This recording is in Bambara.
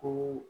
Ko